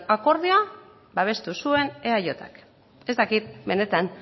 akordioa babestu zuen eajk ez dakit benetan